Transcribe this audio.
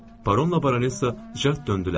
Baronla Baronesa cəld döndülər.